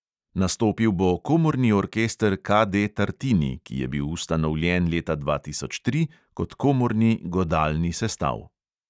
Nastopil bo komorni orkester KD tartini, ki je bil ustanovljen leta dva tisoč tri kot komorni godalni sestav.